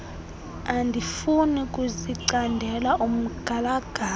andifuni kuzicandela umgalagala